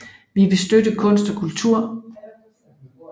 Vi vil støtte kunst og kultur